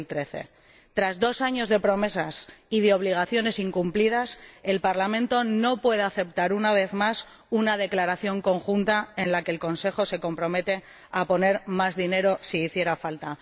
2013. Tras dos años de promesas y de obligaciones incumplidas, el Parlamento no puede aceptar, una vez más, una declaración conjunta en la que el Consejo se compromete a poner más dinero si hiciera falta.